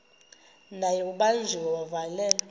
naye ubanjiwe wavalelwa